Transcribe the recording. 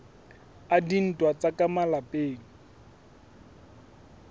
a dintwa tsa ka malapeng